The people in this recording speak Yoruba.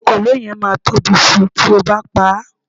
ekòló yen ma Tobi Si ti oo ba pa